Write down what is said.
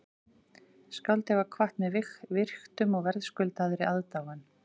Skáldið var kvatt með virktum og verðskuldaðri aðdáun